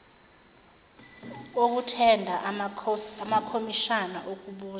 okuthenda amakomishana okubuza